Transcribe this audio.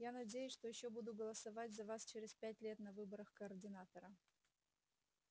я надеюсь что ещё буду голосовать за вас через пять лет на выборах координатора